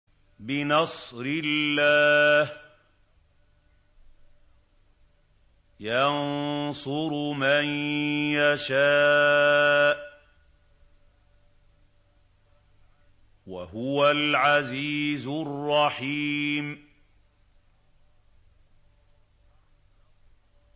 بِنَصْرِ اللَّهِ ۚ يَنصُرُ مَن يَشَاءُ ۖ وَهُوَ الْعَزِيزُ الرَّحِيمُ